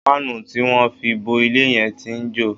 Páànù tí wọ́n fi bo ilé yẹn tí ń jò